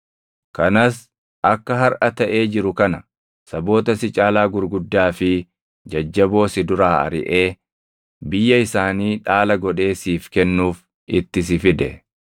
kanas akka harʼa taʼee jiru kana saboota si caalaa gurguddaa fi jajjaboo si duraa ariʼee biyya isaanii dhaala godhee siif kennuuf itti si fide.